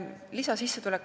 Lisasissetulek.